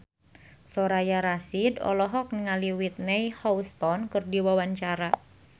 Soraya Rasyid olohok ningali Whitney Houston keur diwawancara